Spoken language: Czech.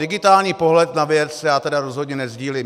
Digitální pohled na věc já tedy rozhodně nesdílím.